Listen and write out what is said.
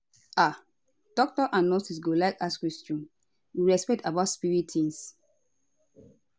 ah doctors and nurses go like ask questions with respect about spirit tings